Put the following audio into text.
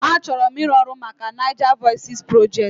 Achọrọ m ịrụ ọrụ maka NaijaVoices Project